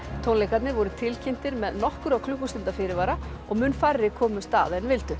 tónleikarnir voru tilkynntir með nokkurra klukkustunda fyrirvara og mun færri komust að en vildu